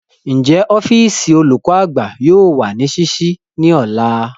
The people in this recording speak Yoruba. Njẹ ọfiisi olukọ-agba yoo wa ni ṣiṣii ni ọla?